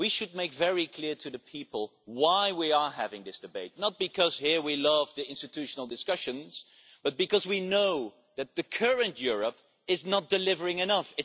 We should make it very clear to people why we are having this debate. It is not because we love institutional discussions here but because we know that the current Europe is not delivering enough.